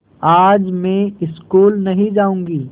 आज मैं स्कूल नहीं जाऊँगी